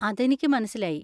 അതെനിക്ക് മനസ്സിലായി.